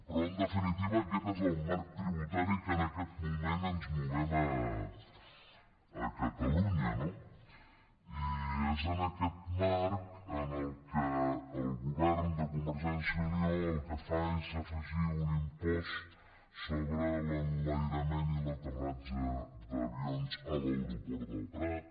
però en definitiva aquest és el marc tributari en què en aquest moment ens movem a catalunya no i és en aquest marc en què el govern de convergència i unió el que fa és afegir un impost sobre l’enlairament i l’aterratge d’avions a l’aeroport del prat